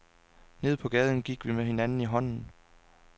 Nede på gaden gik vi med hinanden i hånden.